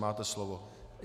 Máte slovo.